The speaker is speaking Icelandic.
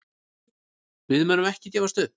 Við munum ekki gefast upp.